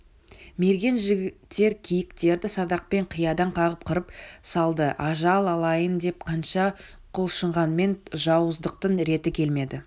мерген жігіттер киіктерді садақпен қиядан қағып қырып салды ажал алайын деп қанша құлшынғанмен жауыздықтың реті келмеді